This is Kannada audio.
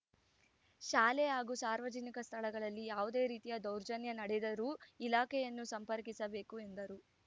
ಶಾಲೆ ಹಾಗೂ ಸಾರ್ವಜನಿಕ ಸ್ಥಳಗಳಲ್ಲಿ ಯಾವುದೇ ರೀತಿಯ ದೌರ್ಜನ್ಯ ನಡೆದರೂ ಇಲಾಖೆಯನ್ನು ಸಂಪರ್ಕಿಸಬೇಕು ಎಂದರು